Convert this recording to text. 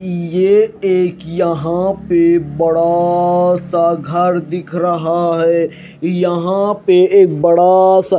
यह एक यहां पे बड़ा सा घर दिख रहा है यहां पे एक बड़ा सा--